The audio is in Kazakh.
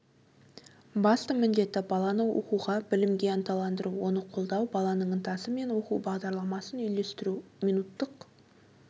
басты міндеті баланы оқуға білімге ынталандыру оны қолдау баланың ынтасы мен оқу бағдарламасын үйлестіру минуттық